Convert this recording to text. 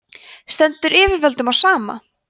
stendur yfirvöldum á sama